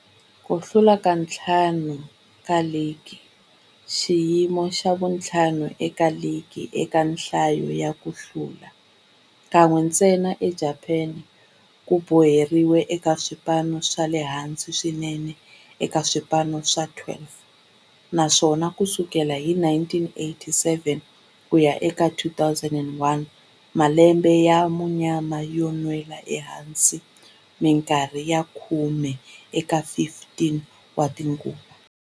Ku hlula ka ntlhanu wa ligi, xiyimo xa vu-5 eka ligi eka nhlayo ya ku hlula, kan'we ntsena eJapani, ku boheleriwile eka swipano swa le hansi swinene eka swipano swa 12, naswona ku sukela hi 1987 ku ya eka 2001, malembe ya munyama yo nwela ehansi minkarhi ya khume eka 15 tinguva.